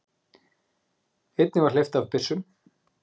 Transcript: Einnig var hleypt af byssum.